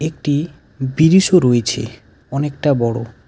একটি ব্রিজও রয়েছে অনেকটা বড়ো.